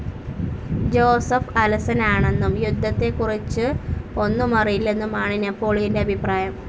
Joseph അലസനാണെന്നും യുദ്ധത്തെക്കുറിച്ച് ഒന്നുമറിയില്ലെന്നുമാണ് നെപോളിയന്റെ അഭിപ്രായം.